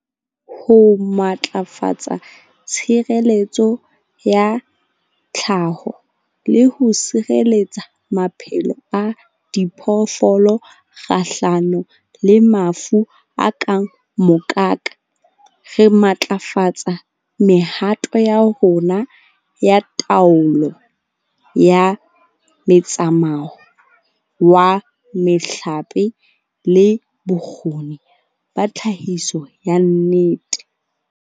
Ho matlafatsa tshireletso ya tlhaho le ho sireletsa maphelo a diphoofolo kgahlano le mafu a kang mokaka, re matlafatsa mehato ya rona ya taolo ya metsamao wa mehlape le bokgoni ba tlhahiso ya ente.